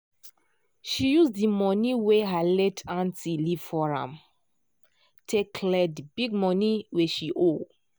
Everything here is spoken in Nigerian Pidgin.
she use the money wey her late aunty leave for am take clear the big money wey she owe.